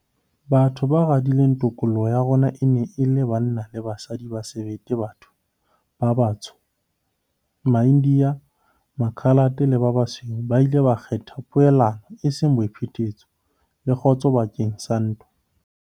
Batho ba radileng tokoloho ya rona e ne e le banna le basadi ba sebete ba batho ba batsho, maIndiya, Makhalate le ba basweu ba ileng ba kgetha poelano eseng boiphetetso, le kgotso bakeng sa ntwa.